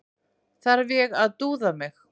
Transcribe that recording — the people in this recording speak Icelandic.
Þarf ég að dúða mig?